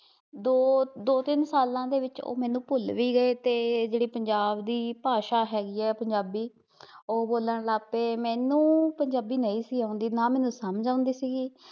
ਦੋ, ਦੋ ਤਿੰਨ ਸਾਲਾਂ ਦੇ ਵਿੱਚ ਓਹ ਮੈਨੂੰ ਭੁੱਲ ਵੀ ਗਏ ਤੇ ਜਿਹੜੀ ਪੰਜਾਬ ਦੀ ਭਾਸ਼ਾ ਹੈਗੀ ਐ ਪੰਜਾਬੀ ਉਹ ਬੋਲਣ ਲਾਪੇ, ਮੈਨੂੰ ਪੰਜਾਬੀ ਨਹੀਂ ਸੀ ਆਉਂਦੀ, ਨਾ ਮੈਨੂੰ ਸਮਝ ਆਉਂਦੀ ਸੀ